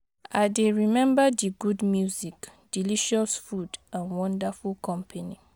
I dey remember di good music, delicious food and wonderful company.